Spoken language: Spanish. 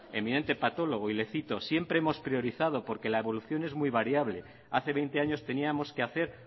eminente patólogo y le cito siempre hemos priorizado porque la evolución es muy variable hace veinte años teníamos que hacer